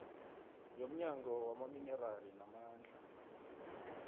yomnyango wamaminerali namandla